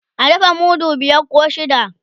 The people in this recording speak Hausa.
a dafa mudu biyar koh shida